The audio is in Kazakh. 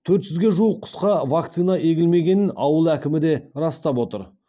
төрт жүзге жуық құсқа вакцина егілмегенін ауыл әкімі де растап отыр